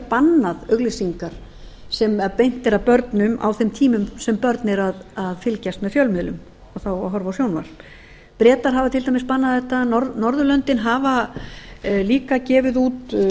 bannað auglýsingar sem beint er að börnum á þeim tímum sem börn eru að fylgjast með fjölmiðlum þá að horfa á sjónvarp bretar hafa til dæmis bannað þetta norðurlöndin hafa líka gefið út